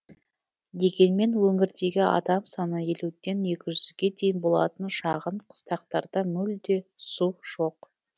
дегенмен өңірдегі адам саны елуден екі жүзге дейін болатын шағын қыстақтарда мүлде су жоқ